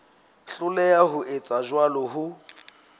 hloleha ho etsa jwalo ho